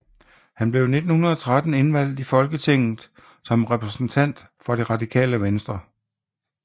Han blev i 1913 indvalgt i Folketinget som repræsentant for Det Radikale Venstre